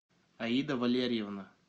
аида валерьевна